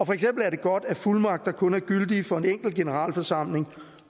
for eksempel er det godt at fuldmagter kun er gyldige for en enkelt generalforsamling